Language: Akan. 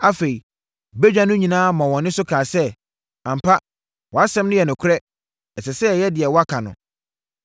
Afei badwa no nyinaa maa wɔn nne so kaa sɛ, “Ampa, wʼasɛm no yɛ nokorɛ. Ɛsɛ sɛ yɛyɛ deɛ woaka no.